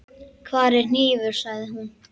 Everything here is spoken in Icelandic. Hvar er hnífur, sagði hún.